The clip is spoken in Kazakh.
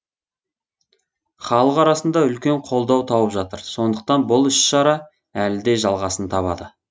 халық арасында үлкен қолдау тауып жатыр сондықтан бұл іс шара әлі де жалғасын табады